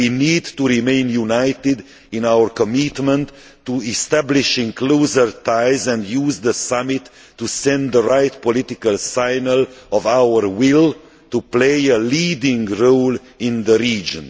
We need to remain united in our commitment to establishing closer ties and to use the summit to send the right political signal of our will to play a leading role in the region.